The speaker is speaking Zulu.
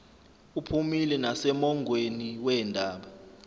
uphumile nasemongweni wendaba